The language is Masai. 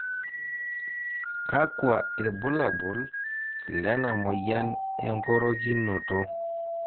kakua irbulabol lena moyian engorokinoto